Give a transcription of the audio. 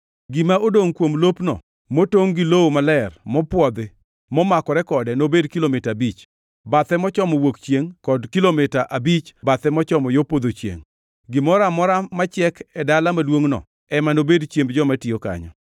Gima odongʼ kuom lopno; motongʼ gi lowo maler mopwodhi, momakore kode nobed kilomita abich, bathe mochomo wuok chiengʼ kod kilomita abich, bathe mochomo yo podho chiengʼ. Gimoro amora machiek e dala maduongʼno ema nobed chiemb joma tiyo kanyo.